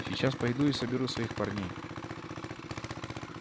сейчас пойду и соберу своих парней